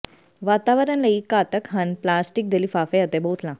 ਵਾਤਾਵਰਣ ਲਈ ਘਾਤਕ ਹਨ ਪਲਾਸਟਿਕ ਦੇ ਲਿਫ਼ਾਫ਼ੇ ਅਤੇ ਬੋਤਲਾਂ